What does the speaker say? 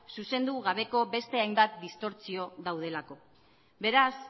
zuzendu gabeko beste hainbat distortsio daudelako beraz